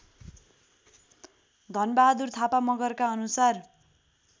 धनबहादुर थापा मगरका अनुसार